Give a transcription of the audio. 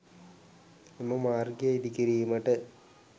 එම මාර්ගය ඉදි කිරීමට